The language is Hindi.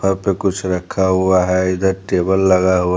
वहां पे कुछ रखा हुआ है इधर टेबल हो--